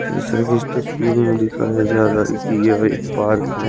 जैसा की इस तस्वीर में दिखाया जा रहा है कि यह एक पार्क है।